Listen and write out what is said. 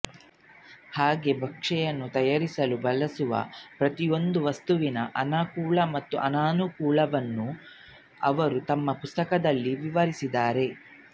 ಹಾಗೇ ಭಕ್ಷ್ಯವನ್ನು ತಯಾರಿಸಲು ಬಳಸುವ ಪ್ರತಿಯೊಂದು ವಸ್ತುವಿನ ಅನುಕೂಲಗಳು ಮತ್ತು ಅನಾನುಕೂಲಗಳನ್ನು ಅವರು ತಮ್ಮ ಪುಸ್ತಕದಲ್ಲಿ ವಿವರಿಸಿದ್ದಾರೆ